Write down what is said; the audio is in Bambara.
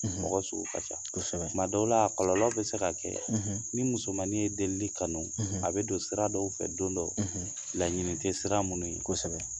Mɔgɔ sugu ka ca, kosɛbɛ, tuma dɔw la a kɔlɔlɔ bɛ se ka kɛ ni musomanin ye delili kanu a bɛ don sira dɔw fɛ don dɔ laɲini tɛ sira minnu ye, kosɛbɛ